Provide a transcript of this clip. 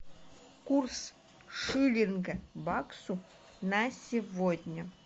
курс шиллинга к баксу на сегодня